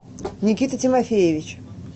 никита тимофеевич